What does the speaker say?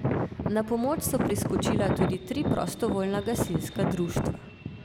Na pomoč so priskočila tudi tri prostovoljna gasilska društva.